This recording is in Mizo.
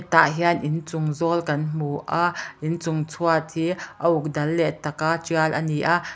tah hian inchung zawl kan hmu a inchung chhuat hi a uk dal leh taka tial a ni a.